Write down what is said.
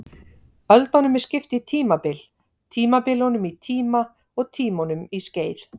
Öldunum er skipt í tímabil, tímabilunum í tíma og tímunum í skeið.